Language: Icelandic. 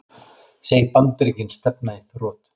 Segir Bandaríkin stefna í þrot